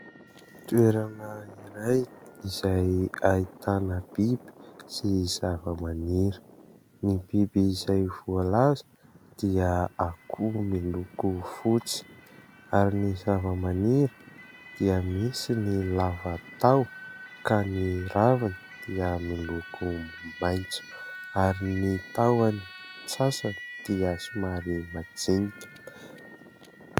Toerana iray izay ahitana biby sy zavamaniry. Ny biby izay voalaza dia akoho miloko fotsy ary ny zavamaniry dia misy ny lava taho ka ny raviny dia miloko maitso ary ny tahony sasany dia somary majinika.